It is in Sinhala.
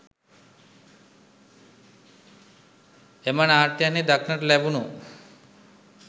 එම නාට්‍යයන්හි දක්නට ලැබුණු